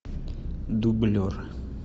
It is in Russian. дублер